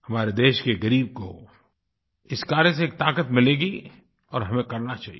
हमारे देश के ग़रीब को इस कार्य से एक ताक़त मिलेगी और हमें करना चाहिए